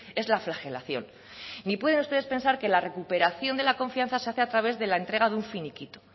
es la flagelación ni pueden usted pensar que la recuperación de la confianza se hace a través de la entrega de un finiquito